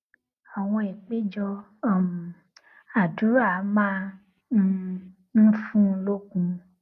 àwọn àpéjọ um àdúrà máa um ń fún un lókun